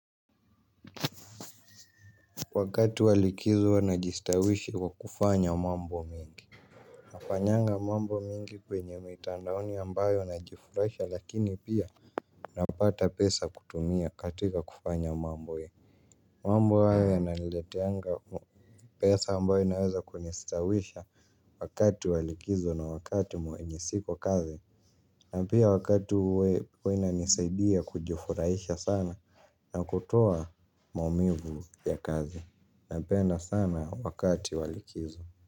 Wakati walikizo wanajistawishi kwa kufanya mambo mingi. Nafanyanga mambo mingi kwenye mitandaoni ambayo najifurahisha lakini pia napata pesa kutumia katika kufanya mambo mambo haya yananileteanga pesa ambayo inaweza kunistawisha wakati wa likizo na wakati mwenye siko kazi. Na pia wakati uwe huaina nisaidia kujifurahisha sana na kutoa maumivu ya kazi. Napenda sana wakati wa likizo.